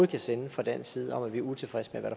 kan sende fra dansk side om at vi er utilfredse